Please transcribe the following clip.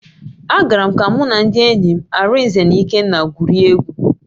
Agara m ka mụ na ndị enyi m, Arinze na Ikenna gwurie egwu.